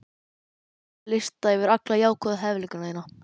Skrifaðu lista yfir alla jákvæðu hæfileikana þína.